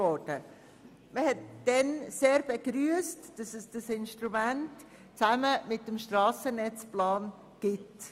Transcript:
Damals wurde sehr begrüsst, dass es dieses Instrument zusammen mit dem Strassennetzplan gibt.